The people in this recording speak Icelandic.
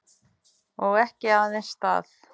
Og ekki aðeins það.